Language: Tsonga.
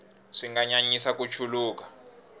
swi nga nyanyisa ku chuluka